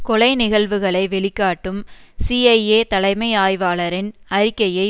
கொலை நிகழ்வுகளை வெளிக்காட்டும் சிஐஏ தலைமை ஆய்வாளரின் அறிக்கையை